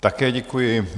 Také děkuji.